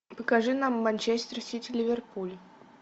покажи нам манчестер сити ливерпуль